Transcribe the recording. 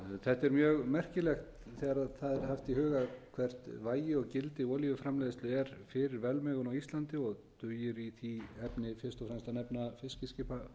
þetta er mjög merkilegt þegar það er haft í huga hvert vægi og gildi olíuframleiðslu er fyrir velmegun á íslandi og dugir í því efni fyrst og fremst að